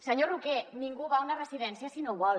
senyor roquer ningú va a una residència si no vol